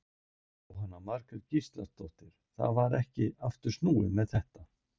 Jóhanna Margrét Gísladóttir: Það var ekkert aftur snúið með þetta?